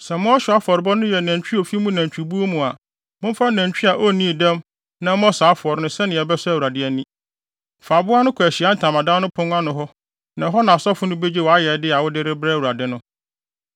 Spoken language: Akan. “ ‘Sɛ mo ɔhyew afɔrebɔde no yɛ nantwi a ofi mo nantwibuw mu a, momfa nantwi a onnii dɛm na ɛmmɔ saa afɔre no sɛnea ɛbɛsɔ Awurade ani. Fa aboa no kɔ Ahyiae Ntamadan no pon ano na ɛhɔ na asɔfo no begye wʼayɛyɛde a wode rebrɛ Awurade no.